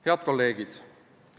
Head kolleegid!